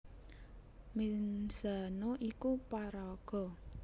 Menzano iku paraga